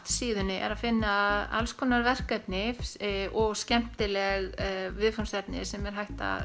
síðunni er að finna alls konar verkefni og skemmtileg viðfangsefni sem er hægt að